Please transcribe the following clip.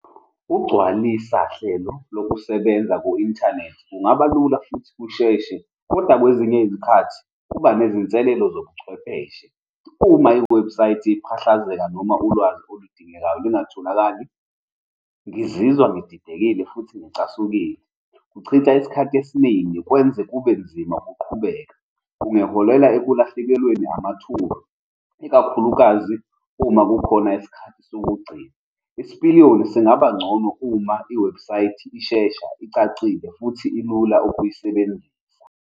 Ugcwalisa hlelo lokusebenza ku-inthanethi kungaba lula futhi kusheshe, kodwa kwezinye iy'khathi kuba nezinselelo zobuchwepheshe. Uma iwebhusayithi iphahlazeka noma ulwazi oludingekayo lungatholakali, ngizizwa ngididekile futhi ngicasukile. Kuchitha isikhathi esiningi, kwenze kube nzima ukuqhubeka. Kungaholela ekulahlekelweni amathuba, ikakhulukazi uma kukhona isikhathi sokugcina. Isipiliyoni singaba ngcono uma iwebhusayithi ishesha, icacile, futhi ilula ukuyisebenzisa.